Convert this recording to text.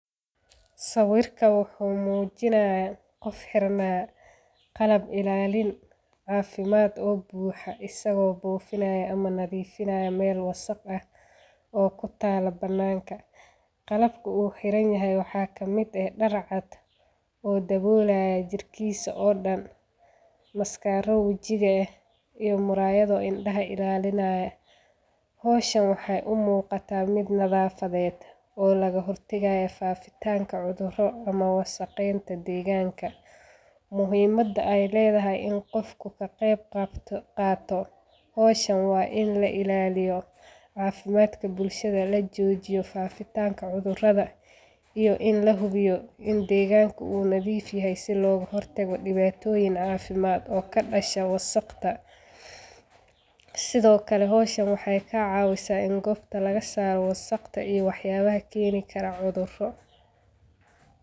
Sawirka wuxu mujinayaa qof xeranaya qalab ilalin cafimaad oo buuxa isago bufinaya ama nadhifinaya Mel wasaq ah oo kutala bananka, qalbku u xeranayahay waxa kamid eh dar cad oo dabolaya jirkisa oo dan maskaro wajiga eh iyo murayada indaha ilalinaya. Howshan waxay u muqata mid nadhafadhed oo laga hortagaya fafitanga cudhuro ama wasaqeynta deeganka muhimada ay ledhahay in qofka kaqeyb qato howshan wa in lailaliyo caafimaadka bulshadha lajojiyo fafitanka cudhuradha iyo in lahubiyo in deeganka u nadhif yahay si loga hortaga dibatoyin caafimaad oo kadasha wasaqda. Sithokale howshan waxay kacawisa gobta lagasara wasaqda iyo wax yalaha keeni Kara cudhuro.